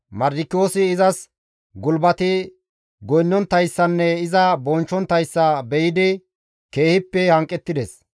Mardikiyoosi izas gulbati goynnonttayssanne iza bonchchonttayssa be7idi keehippe hanqettides.